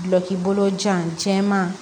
Gulɔki bolo jan jɛman